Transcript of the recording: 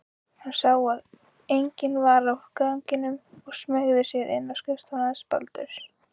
Hann sá að enginn var á ganginum og smeygði sér inn á skrifstofuna hans Baldurs.